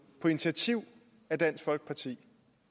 på initiativ af dansk folkeparti